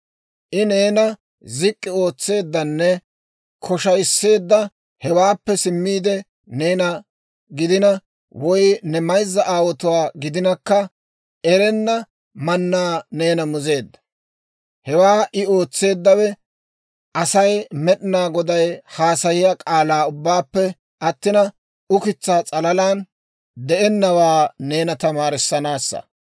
I neena zik'k'i ootseeddanne koshayiseedda; hewaappe simmiide neena gidina, woy ne mayzza aawotuwaa gidinakka, erenna mannaa neena mizeedda. Hewaa I ootseeddawe Asay Med'inaa Goday haasayiyaa k'aalaa ubbaanappe attina, ukitsaa s'alalaan de'ennawaa neena tamaarissanaassa.